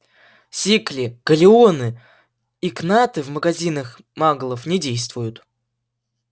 сикли галлеоны и кнаты в магазинах маглов не действуют